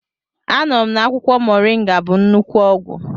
Anụrụ na akwụkwọ moringa bụ nnukwu ọgwụ.